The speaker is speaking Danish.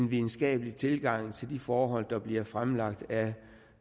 videnskabelig tilgang til de forhold der bliver fremlagt af